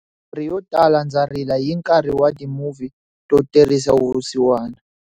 Yo tala ndza rila hi nkarhi wa timuvhi to terisa vusiwana.